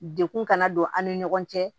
Dekun kana don an ni ɲɔgɔn cɛ